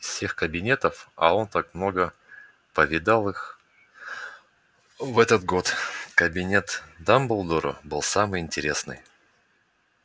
из всех кабинетов а он так много повидал их в этот год кабинет дамблдора был самый интересный